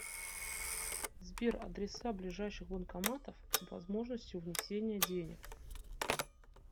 сбер адреса ближайших банкоматов с возможностью внесения денег